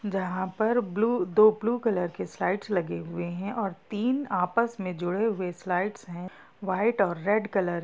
जहाँ पर ब्लू दो ब्लू कलर के स्लाइड्स लगे हुए हैं और तीन आपस में जुड़े हुए स्लाइड्स हैं वाइट और रेड कलर ।